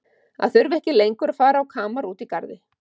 Að þurfa ekki lengur að fara á kamar úti í garði.